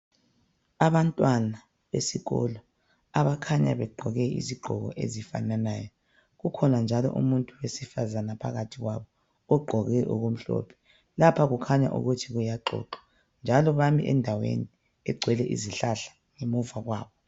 Abantwana besikolo abakhanya begqoke izigqoko ezifananayo. Kukhona njalo umuntu wesifazana phakathi kwabo ogqoke okumhlophe, lapha kukhanya ukuthi kuyaxoxwa njalo bami endaweni egcwele izihlahla ngemuva kwabo